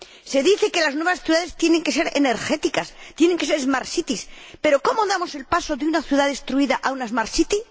Se dice que las nuevas ciudades tienen que ser energéticas, tienen que ser smart cities pero ¿cómo damos el paso de una ciudad destruida a una smart city